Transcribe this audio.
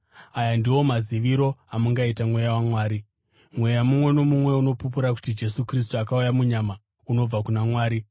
Aya ndiwo maziviro amungaita Mweya waMwari: mweya mumwe nomumwe unopupura kuti Jesu Kristu akauya munyama unobva kuna Mwari,